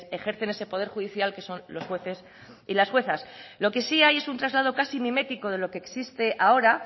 ejercen ese poder judicial que son los jueces y las juezas lo que sí hay es un traslado casi mimético de lo que existe ahora